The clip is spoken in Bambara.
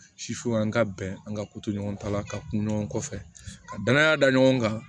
an ka bɛn an ka koto ɲɔgɔn ta la ka kun ɲɔgɔn kɔfɛ ka danaya da ɲɔgɔn kan